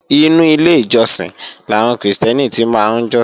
Inú ilé ìjọsìn làwọn Krìstẹ́nì ti máa ń jọ́sìn